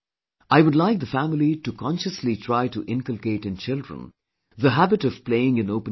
I would like the family to consciously try to inculcate in children the habit of playing in open grounds